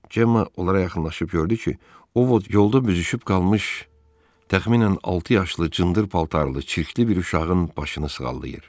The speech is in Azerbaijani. Cemma onlara yaxınlaşıb gördü ki, Ovod yolda büzüşüb qalmış təxminən altı yaşlı cındır paltarlı çirkli bir uşağın başını sığallayır.